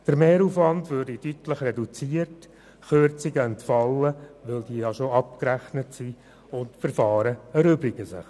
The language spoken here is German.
Der Mehraufwand würde deutlich reduziert, Kürzungen würden entfallen, da sie bereits abgerechnet sind, und Verfahren würden sich erübrigen.